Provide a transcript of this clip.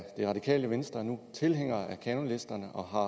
radikale venstre nu tilhængere af kanonlisterne og har